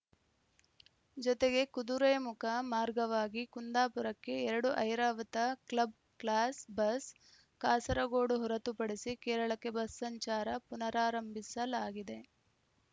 ಜೊತೆಗೆ ಕುದುರೆಮುಖ ಮಾರ್ಗವಾಗಿ ಕುಂದಾಪುರಕ್ಕೆ ಎರಡು Airavat club class bus Kasaragod ಹೊರತುಪಡಿಸಿ ಕೇರಳಕ್ಕೆ ಬಸ್‌ ಸಂಚಾರ ಪುನರಾರಂಭಿಸಲಾಗಿದೆ